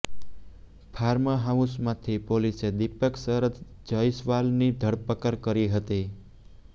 farm હાઉસમાંથી પોલીસે દિપક શરદ જયસ્વાલની ધરપકડ કરી હતી